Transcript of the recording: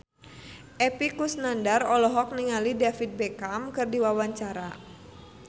Epy Kusnandar olohok ningali David Beckham keur diwawancara